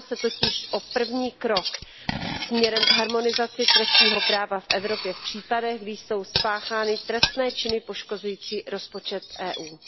Jedná se totiž o první krok směrem k harmonizaci trestního práva v Evropě v případech, kdy jsou spáchány trestné činy poškozující rozpočet EU.